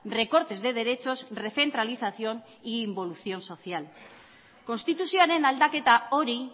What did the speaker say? recortes de derechos recentralización e involución social konstituzioaren aldaketa hori